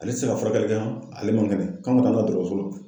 Ale te se ka furakɛli kɛ han, ale man kɛnɛ . K'an ka taa dɔgɔtɔrɔso la.